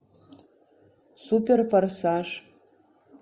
супер форсаж